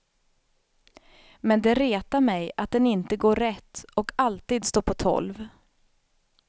Men det retar mig att den inte går rätt och alltid står på tolv.